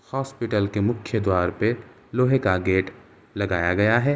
Hospital के मुख्य द्वार पे लोहे का गेट लगाया गया है।